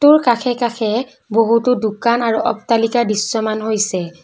কাষে কাষে বহুতো দোকান আৰু অট্টালিকা দৃশ্যমান হৈছে।